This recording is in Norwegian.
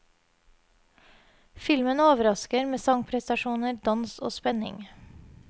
Filmen overrasker med sangprestasjoner, dans og spenning.